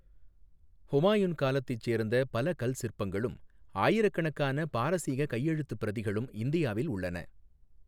ஹுமாயூன் காலத்தைச் சேர்ந்த பல கல் சிற்பங்களும் ஆயிரக்கணக்கான பாரசீக கையெழுத்துப் பிரதிகளும் இந்தியாவில் உள்ளன.